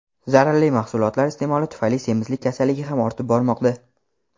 zararli mahsulotlar iste’moli tufayli semizlik kasalligi ham ortib bormoqda.